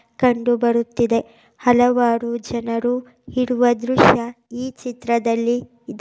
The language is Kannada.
ಕಂಡು ಬರುತ್ತಿದೆ. ಹಲವಾರು ಜನರು ಇರುವ ದೃಶ್ಯ ಈ ಚಿತ್ರದಲ್ಲಿ ಇದೆ.